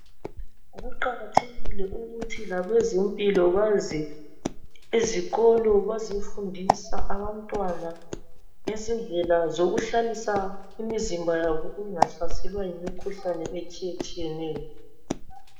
Kuqakathekile ukuthi labezempilo baze ezikolo bazefundisa abantwana ngezindlela zokuhlalisa imizimba yabo ingahlaselwa yimikhuhlane etshiyetshiyeneyo.